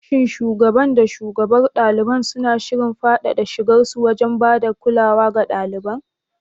Shin shugaban da shugabar ɗalibai suna shirin faɗaɗa shigarsu wajen ba da kulawa ga ɗalibai?